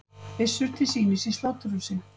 Byssur til sýnis í sláturhúsi